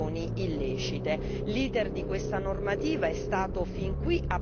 L'iter di questa normativa è stato fin qui abbastanza travagliato.